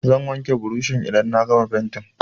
Zan wanke burushin idan na gama fenti.